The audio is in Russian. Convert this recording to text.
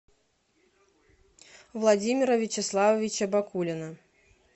владимира вячеславовича бакулина